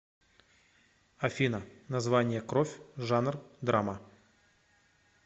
афина название кровь жанр драма